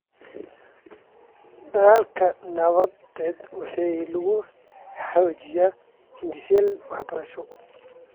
Dadaalka nabadeed waxaa lagu xoojiyay hindiseyaal waxbarasho.